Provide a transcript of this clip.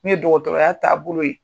Ne ye dɔgɔtɔrɔya taa bolo ye.